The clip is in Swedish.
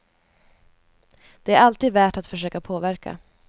Det är alltid värt att försöka påverka.